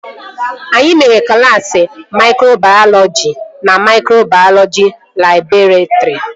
Anyị mere klaasị maikrobayọlọji na maikrobayọlọji labọretrị